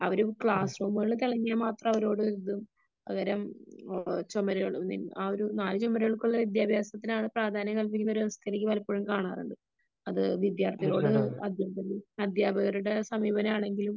അവര് ക്ലാസ് റൂമുകളില് കഴിഞ്ഞാ മാത്രം അവരോട് ഒരിതും പകരം ചുമരുകളില് ആ ഒരു നാല് ചുമരുകൾക്കുള്ളിലുള്ള വിദ്യാഭ്യാസത്തിനാണ് പ്രാധാന്യം കൽപ്പിക്കുന്ന ഒരു അവസ്ഥ എനിക്ക് പലപ്പോഴും കാണാറുണ്ട് . അത് വിദ്യാർഥികളോട് അധ്യാപകരുടെ സമീപനമാണെങ്കിലും